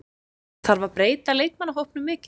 Þarf að breyta leikmannahópnum mikið?